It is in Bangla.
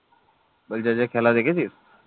বলছি আজকে খেলা দেখেছিস?